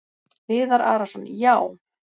Viðar Arason: Já.